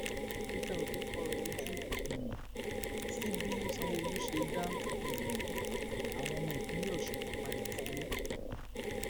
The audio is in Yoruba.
peter obi kọrọ um ojú sí bí sanwóolu ṣe dá um àwọn ọmọ ìpínlẹ ọsùn kan padà sílé